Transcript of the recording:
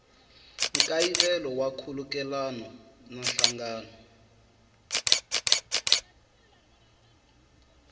nkayivelo wa nkhulukelano na nhlangano